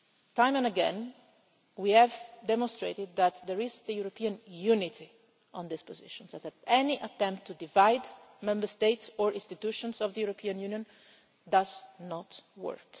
Time and again, we have demonstrated that there is a European unity on this position so that any attempt to divide Member States or institutions of the European Union does not work.